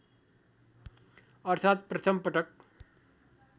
अर्थात् प्रथम पटक